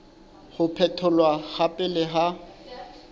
ho phetholwa ha pele ha